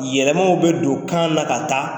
Yɛlɛmaw bɛ don kan na ka taa.